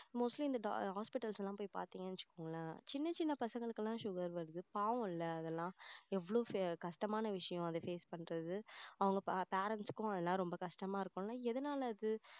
mostly இந்த hospitals எல்லாம் போய் பார்த்தீங்கன்னு வச்சிகோங்களேன் சின்ன சின்ன பசங்களுக்கெல்லாம் வந்து sugar இருக்கு பாவம்ல அதெல்லாம் எவ்வளவு கஷ்டமான விஷயம் அதை face பண்றது அவங்க parents க்கும் அதெல்லாம் கஷ்டமா இருக்கும்ல எதுனால அது